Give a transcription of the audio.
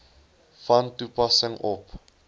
van toepassing op